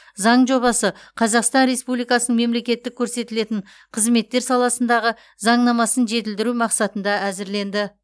заң жобасы қазақстан республикасының мемлекеттік көрсетілетін қызметтер саласындағы заңнамасын жетілдіру мақсатында әзірленді